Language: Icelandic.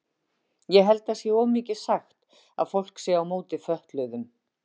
Ég held það sé of mikið sagt að fólk sé á móti fötluðum.